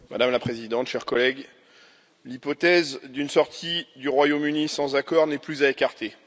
Madame la Présidente, chers collègues, l'hypothèse d'une sortie du Royaume Uni sans accord n'est plus à écarter.